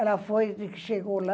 Ela foi de que chegou lá.